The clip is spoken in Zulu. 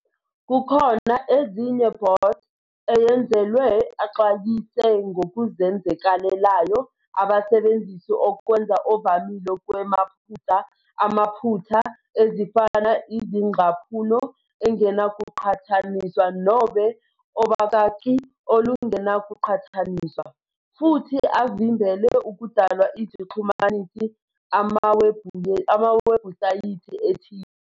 Kukhona ezinye bots eyenzelwe axwayise ngokuzenzakalelayo abasebenzisi okwenza ovamile kwemaphutsa amaphutha, ezifana izingcaphuno angenakuqhathaniswa nobe obakaki olungenakuqhathaniswa, futhi avimbele ukudalwa izixhumanisi amawebhusayithi ethile.